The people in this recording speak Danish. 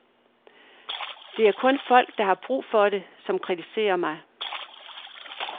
Det er kun folk, der har brug for det, som kritiserer mig.